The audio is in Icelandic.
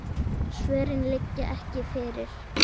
Svörin liggja ekki fyrir.